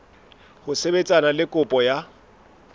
ho sebetsana le kopo ya